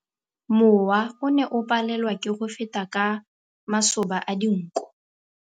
Mowa o ne o palelwa ke go feta ka masoba a dinko.